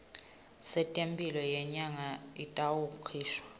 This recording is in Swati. setemphilo yenyama itawukhishwa